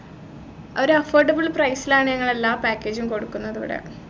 ഒരു affordable price ലാണ് ഞങ്ങൾ എല്ലാ package ഉം കൊടുക്കുന്നതിവിടെ